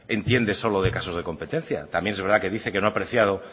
entiende solo de casos de competencia también es verdad que dice que no ha apreciado